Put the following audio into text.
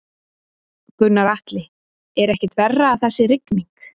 Gunnar Atli: Er ekkert verra að það sé rigning?